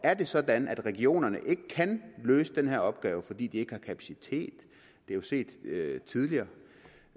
er det sådan at regionerne ikke kan løse den her opgave fordi de ikke har kapacitet det er jo set tidligere